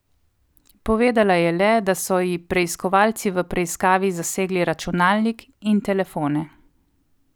Povedala je le, da so ji preiskovalci v preiskavi zasegli računalnik in telefone.